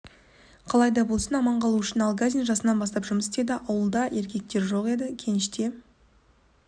қалай да болсын аман қалу үшін алгазин жасынан бастап жұмыс істеді ауылда еркектер жоқ еді кеніште